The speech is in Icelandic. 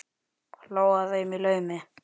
Hló að þeim í laumi.